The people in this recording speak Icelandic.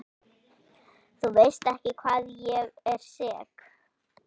Þú veist ekki hvað ég er sek.